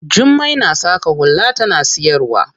Jummai na saƙa hula tana siyarwa.